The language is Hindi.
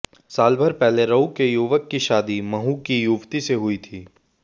सालभर पहले राऊ के युवक की शादी महू की युवती से हुई थी